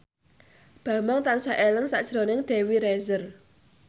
Bambang tansah eling sakjroning Dewi Rezer